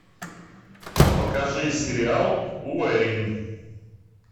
покажи сериал уэйн